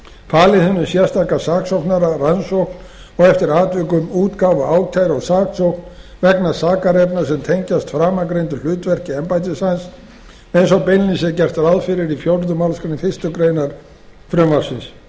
falið hinum sérstaka saksóknara rannsókn og eftir atvikum útgáfu ákæru og saksókn vegna sakarefna sem tengjast framangreindu hlutverki embættis hans eins og beinlínis er gert ráð fyrir í fjórðu málsgrein fyrstu grein frumvarpsins